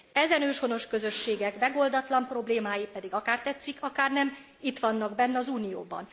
Ezen őshonos közösségek megoldatlan problémái pedig akár tetszik, akár nem, itt vannak benn az Unióban.